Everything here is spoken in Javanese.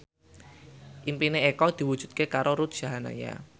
impine Eko diwujudke karo Ruth Sahanaya